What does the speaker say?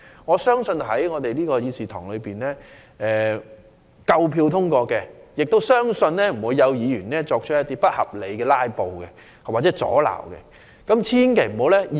我相信有關立法建議在議事堂內會獲得足夠票數通過，也相信不會有議員不合理地"拉布"作出阻撓。